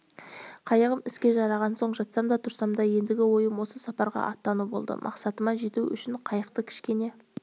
қайығым іске жараған соң жатсам да тұрсам да ендігі ойым осы сапарға аттану болды мақсатыма жету үшін қайыққа кішкене